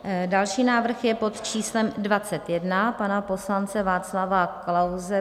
Další návrh je pod číslem 21 pana poslance Václava Klause.